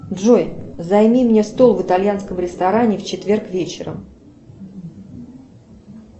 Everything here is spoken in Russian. джой займи мне стол в итальянском ресторане в четверг вечером